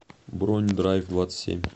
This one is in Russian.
бронь драйвдвадцатьсемь